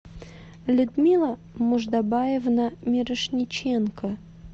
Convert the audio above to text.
людмила муждабаевна мирошниченко